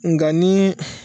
Nka nii